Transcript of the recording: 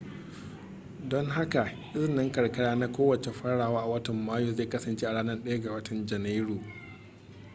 don haka izinin karkara na kowace farawa a watan mayu zai kasance a ranar 1 ga janairu